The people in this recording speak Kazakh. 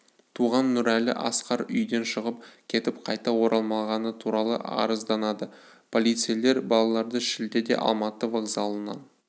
туған нұрәлі асқар үйден шығып кетіп қайта оралмағаны туралы арызданады полицейлер балаларды шілдеде алматы вокзалынан